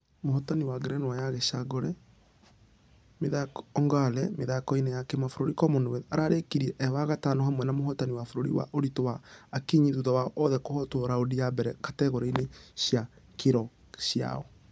Mũhotani wa ngerenwa ya gĩcangoongqre mĩthako-inĩ ya kĩmabũrũri commonwealth ararĩkirie Ĩĩ wa gatano hamwe na mũhotani wa bũrũrĩ wa ũritũ wa ...akinyi. Thutha wao othe kũhotwo raundi ya mbere kategore-inĩ cia kiro ciao.